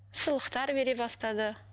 сыйлықтар бере бастады